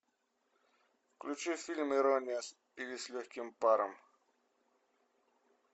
включи фильм ирония или с легким паром